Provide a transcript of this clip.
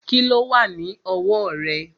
Kíló wà ní ọwọ́ rẹ̀?